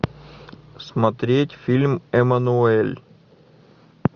смотреть фильм эммануэль